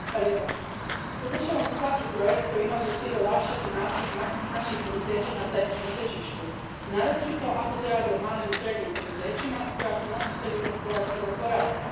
Gospodine predsjedniče, podržavam svaki projekt koji ima za cilj olakšati nastup naših poduzeća na zajedničkom tržištu, naročito ako se radi o malim i srednjim poduzećima koja su nositelji gospodarskog oporavka.